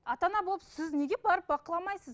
ата ана болып сіз неге барып бақыламайсыз